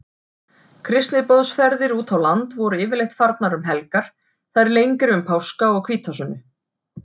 Kristniboðsferðir útá land voru yfirleitt farnar um helgar, þær lengri um páska og hvítasunnu.